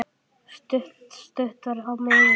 Stutt var á miðin.